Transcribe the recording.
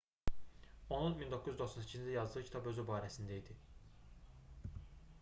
onun 1998-ci ildə yazdığı kitab özü barəsində idi